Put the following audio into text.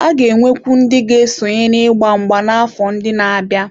A ga-enwekwu ndị ga-esonye n'ịgba mgba n'afọ ndị na-abịa.